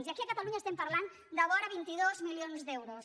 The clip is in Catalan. i aquí a catalunya estem parlant de vora vint dos milions d’euros